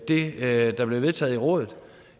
det der blev vedtaget i rådet